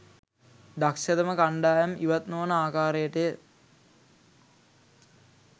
දක්ෂතම කණ්ඩායම් ඉවත් නොවන ආකාරයටය